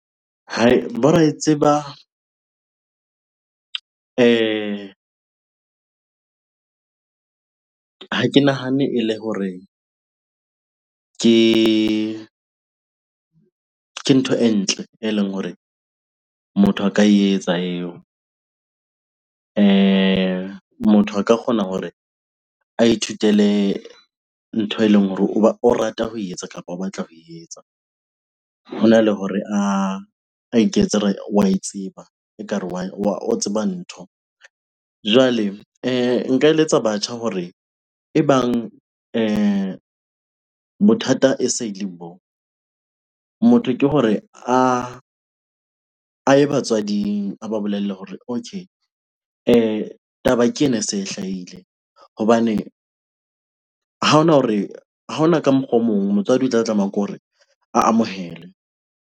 Hai! bo raetseba ha ke nahane e le hore ke ntho e ntle eleng hore motho a ka e etsa eo. Motho a ka kgona hore a ithutele ntho eleng hore o rata ho e etsa kapa o batla ho etsa. Hona le hore a iketse wa e tseba, ekare wa, o tseba ntho. Jwale nka eletsa batjha hore ebang bothata e se le boo, motho ke hore a ye batswading a ba bolelle hore okay taba ke ena e se e hlahile hobane ha hona hore, ha hona ka mokgwa o mong. Motswadi o tla tlameha ke hore a amohele.